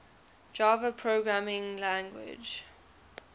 java programming language